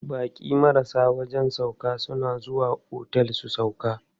Baƙi marasa wajen sauƙa suna zuwa otel su sauƙa.